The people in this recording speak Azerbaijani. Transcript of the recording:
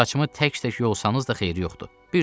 Saçımı tək-tək yolsanız da xeyir yoxdur.